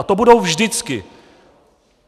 A to budou vždycky.